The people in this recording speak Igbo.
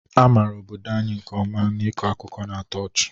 A maara obodo anyị nke ọma n'ịkọ akụkọ na-atọ ọchị